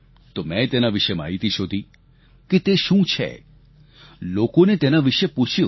તો મેં તેના વિશે માહિતી શોધી કે તે શું છે લોકોને તેના વિશે પૂછ્યું